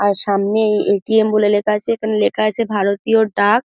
আর সামনে এ.টি.এম. বলে লেখা আছে এখানে লেখা আছে ভারতীয় ডাক।